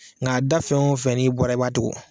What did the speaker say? Ŋ'a da fɛn o fɛn n'i bɔra i b'a tugun